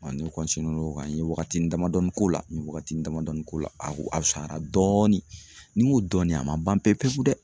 ne n'o kan n ye wagatini damadɔni k'o la n ye wagatini damadɔni k'o la a ko a fusayara dɔɔni ni n ko dɔɔni a ma ban pepewu dɛ